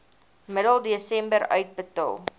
middel desember uitbetaal